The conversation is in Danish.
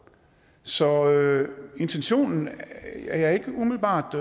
så intentionen er jeg ikke umiddelbart